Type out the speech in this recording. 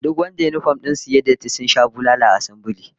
Duk wadanda yinifom din su suka yi datti jiya sun sha bulala a assambile